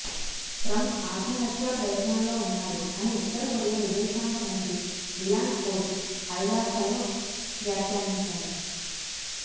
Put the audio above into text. Trump ఆత్మహత్యా ప్రయత్నాల్లో ఉన్నారు అని ఉత్తరకొరియా విదేశాంగమంత్రి రియంగ్ హోస్ ఐరాసలో వ్యాఖ్యానించారు